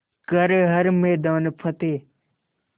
कर हर मैदान फ़तेह